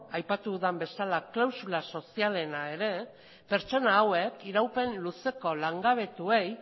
aipatu dudan bezala klausula sozialena ere pertsona hauek iraupen luzeko langabetuei